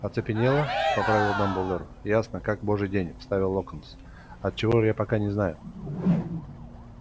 оцепенела поправил дамблдор ясно как божий день вставил локонс от чего я пока не знаю